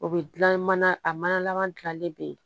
O bɛ dilan mana a mana laban gilanlen bɛ yen